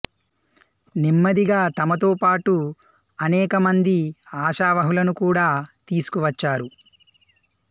నెమ్మదిగా తమతో పాటు అనేక మంది ఆశావహులను కూడా తీసుకువచ్చారు